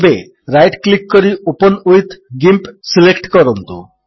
ଏବେ right click କରି open with GIMP select କରନ୍ତୁ